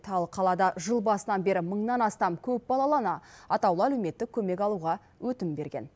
ал қалада жыл басынан бері мыңнан астам көпбалалы ана атаулы әлеуметтік көмек алуға өтінім берген